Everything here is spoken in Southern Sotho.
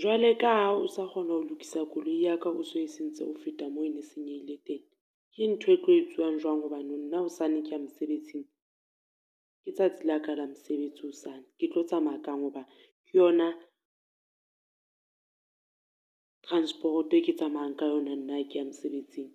Jwale ka ha o sa kgona ho lokisa koloi ya ka o so e sentse ho feta mo e ne senyehile teng. Ke ntho e tlo etsiwang jwang hobane nna hosane ke mosebetsing? Ke tsatsi la ka la mosebetsi hosane, ke tlo tsamaya kang ho ba ke yona, transporoto e ke tsamayang ka yona nna ha ke ya mosebetsing?